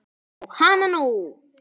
Og hana nú!